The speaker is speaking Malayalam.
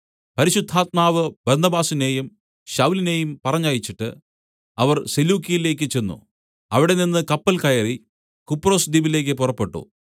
പരിശുദ്ധാത്മാവ് ബർന്നബാസിനെയും ശൌലിനെയും പറഞ്ഞയച്ചിട്ട് അവർ സെലൂക്യയിലേക്ക് ചെന്ന് അവിടെനിന്ന് കപ്പൽ കയറി കുപ്രൊസ് ദ്വീപിലേക്ക് പുറപ്പെട്ടു